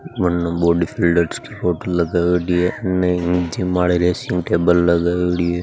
बने बॉडीबिल्डर की फोटो लगायोडी है उन जिम आले रेसिंग टेबल लगायोडी है।